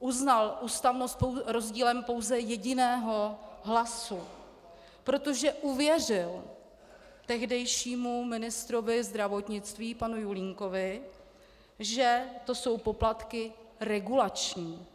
uznal ústavnost rozdílem pouze jediného hlasu, protože uvěřil tehdejšímu ministrovi zdravotnictví panu Julínkovi, že to jsou poplatky regulační.